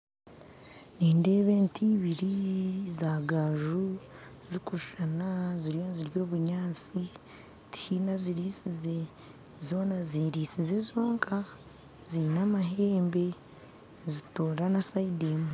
Nindeeba ente ibiri za gaaju zirikushushana ziriyo nizirya obunyaatsi tihaine oziriisize zona zerisize zonka ziine amahembe nizitoora aha sayidi emwe